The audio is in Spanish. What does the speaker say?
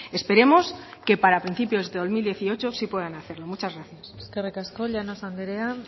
esperemos que para principios del dos mil dieciocho sí puedan hacerlo muchas gracias eskerrik asko llanos andrea